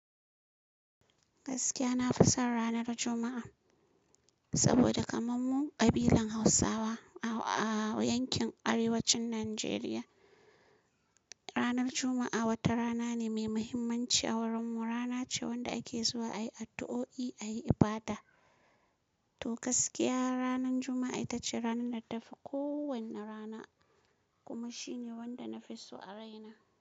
Gaskiya na fi son ranar Juma'a, saboda kamar mu ƙabilan Hausawa a yankin arewacin Najeriya, ranar Juma'a wata rana ne mai muhimmanci a wurin mu. Rana ce wanda ake zuwa a yi addu'o'i, a yi ibada. To gaskiya ranan Juma'a ita ce ranan da ta fi kowane rana, kuma shi ne wanda na fi so a raina.